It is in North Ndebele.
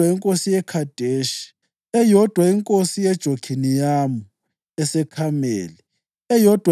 inkosi yeKhedeshi, eyodwa inkosi yeJokhiniyamu eseKhameli, eyodwa